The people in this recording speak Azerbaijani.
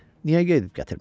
Niyə gedib gətirməsin?